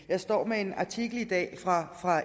jeg står med en artikel fra